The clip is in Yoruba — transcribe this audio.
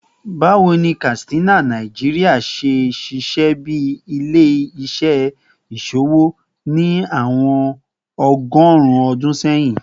Bawo ni Katsina, Nigeria, ṣe ṣiṣẹ bi ile-iṣẹ iṣowo ni awọn ọgọrun ọdun sẹyin?